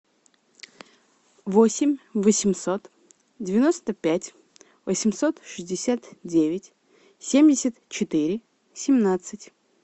восемь восемьсот девяносто пять восемьсот шестьдесят девять семьдесят четыре семнадцать